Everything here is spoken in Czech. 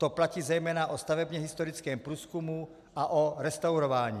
To platí zejména o stavebně historickém průzkumu a o restaurování.